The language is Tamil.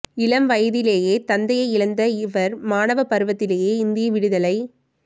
இளம் வயதிலேயே தந்தையை இழந்த இவர் மாணவ பருவத்திலேயே இந்திய விடுதலை